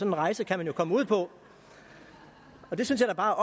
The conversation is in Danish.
en rejse kan man jo komme ud på det synes jeg bare